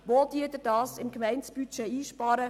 Wo sparen Sie diese im Gemeindebudget ein?